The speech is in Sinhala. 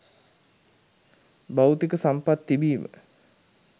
භෞතික සම්පත් තිබීම